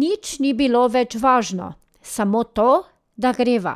Nič ni bilo več važno, samo to, da greva,